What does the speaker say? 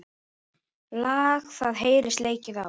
Lag það heyrist leikið á.